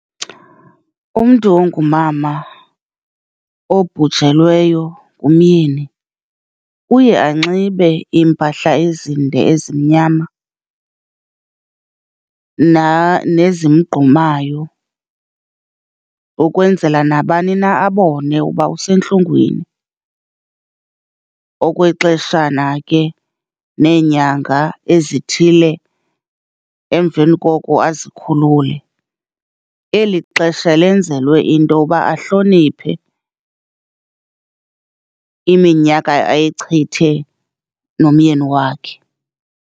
Umntu ongumama obhujelweyo ngumyeni uye anxibe iimpahla ezinde ezimnyama nezimgqumayo, ukwenzela nabani na abone uba usentlungwini, okwexeshana ke neenyanga ezithile emveni koko azikhulule. Eli xesha lenzelwe into ba ahloniphe iminyaka ayichithe nomyeni wakhe.